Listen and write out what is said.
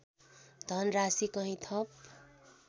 धनराशि कहीँ थप